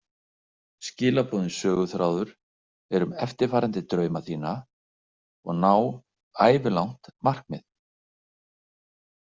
Skilaboðin söguþráður er um eftirfarandi drauma þína og ná ævilangt markmið.